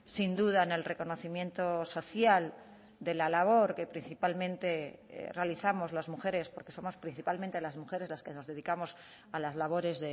sin duda en el reconocimiento social de la labor que principalmente realizamos las mujeres porque somos principalmente las mujeres las que nos dedicamos a las labores